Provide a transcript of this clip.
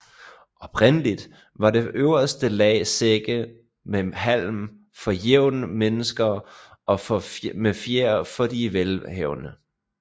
Oprindeligt var det øverste lag sække med halm for jævne mennesker og med fjer for de velhavende